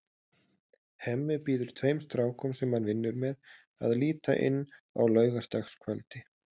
Hemmi býður tveim strákum, sem hann vinnur með, að líta inn á laugardagskvöldi.